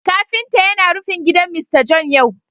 Kafinta yana rufin gidan Mr John yau